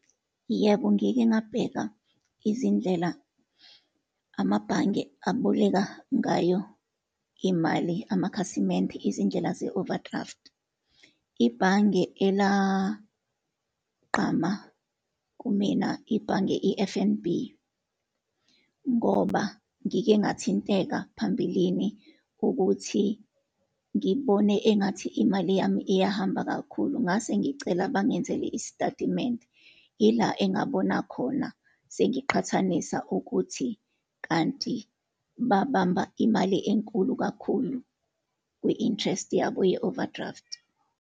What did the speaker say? Yebo, ngike ngabheka izindlela amabhange aboleka ngayo imali amakhasimende, izindlela ze-overdraft. Ibhange elagqama kumina, ibhange i-F_N_B, ngoba ngike ngathinteka phambilini ukuthi ngibone engathi imali yami iyahamba kakhulu, ngase ngicela bangenzele isitatimende. Yila engabona khona, sengiqhathanisa ukuthi kanti babamba imali enkulu kakhulu kwi-interest yabo ye-overdraft.